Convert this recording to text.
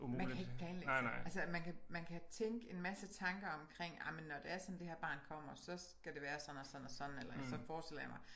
Man kan ikke planlægge altså man kan man kan tænke en masse tanker omkring ah men nå det er sådan at det her barn kommer så skal det være sådan og sådan og sådan eller så forestiller jeg mig